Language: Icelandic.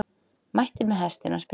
Mætti með hestinn á spítala